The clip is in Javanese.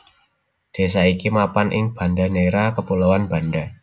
Désa iki mapan ing Banda Neira Kepulauan Banda